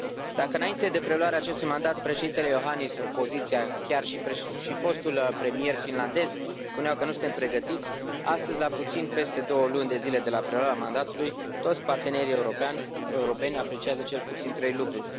Dacă înainte de preluarea acestui mandat președintele Iohannis, opoziția, chiar și fostul premier finlandez spuneau că nu suntem pregătiți, astăzi, la puțin peste 2 luni de zile de la preluarea mandatului, toți partenerii europeni apreciază cel puțin trei lucruri.